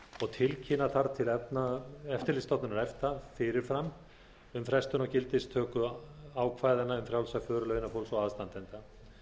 og tilkynna þarf til eftirlitsstofnunar efta fyrir fram um frestun á gildistöku ákvæðanna um frjálsa för launafólks og aðstandenda